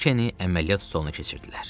Brikeni əməliyyat stoluna keçirdilər.